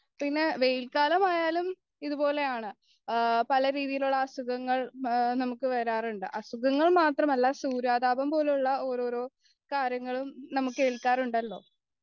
പിന്നെ വെയിൽ കാലമായാലും ഇതുപോലെയാണ് പലരീതിയിലുള്ള അസുഖങ്ങൾ നമുക്ക് വരാറുണ്ട് അസുഖങ്ങൾ മാത്രമല്ല സൂര്യാഘാതം പോലെയുള്ള ഓരോരോ കാര്യങ്ങളും നമുക്ക് ഏല്ക്കാറുണ്ടല്ലോ